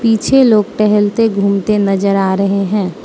पीछे लोग टहलते घूमते नजर आ रहे हैं।